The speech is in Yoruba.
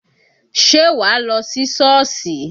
Ṣé wàá lọ sí Șọ́ọ̀sì?